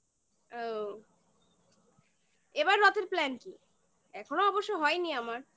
ও এবার রথের plan কি? এখনো অবশ্য হয়নি আমার